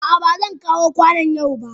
A'a, ba zan kawo kwanon yau ba.